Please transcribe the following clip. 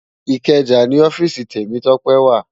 Ikeja ni òfìsí Temitope wá